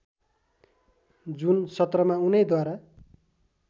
जुन सत्रमा उनैद्वारा